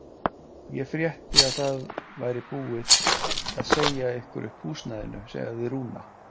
Ég frétti að það væri búið að segja ykkur upp húsnæðinu, sagði Rúna.